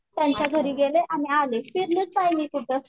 त्यांच्या घरी गेले आणि आले फिरलेच नाही मी कुठं